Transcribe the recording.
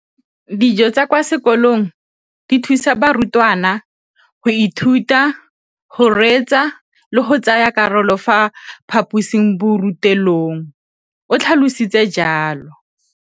Dijo tsa kwa sekolong dithusa barutwana go ithuta, go reetsa le go tsaya karolo ka fa phaposiborutelong, o tlhalositse jalo.